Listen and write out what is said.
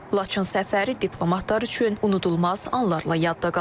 Laçın səfəri diplomatlar üçün unudulmaz anlarla yadda qalıb.